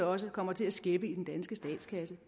også kommer til at skæppe i den danske statskasse